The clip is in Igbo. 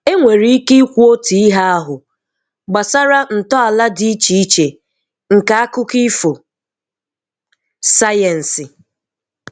Enwere ike ikwu otu ihe ahụ gbasara ntọala dị iche iche nke akụkọ ifo sayensị.